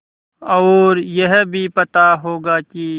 और यह भी पता होगा कि